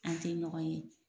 An tɛ ɲɔgɔn ye.